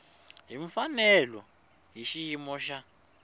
hi mfanelo hi xiyimo xa